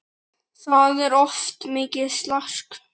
Það var oft mikið slark.